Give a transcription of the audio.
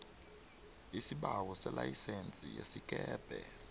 isibawo selayisense yesikepe